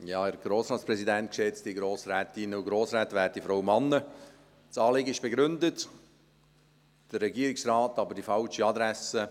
Das Anliegen ist begründet, der Regierungsrat aber die falsche Adresse.